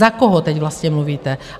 Za koho teď vlastně mluvíte?